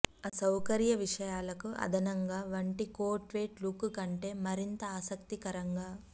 అసౌకర్య విషయాలకు అదనంగా వంటి కోక్వెట్ లుక్ కంటే మరింత ఆసక్తికరంగా